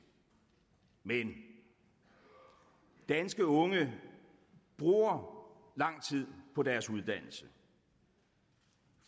men danske unge bruger lang tid på deres uddannelse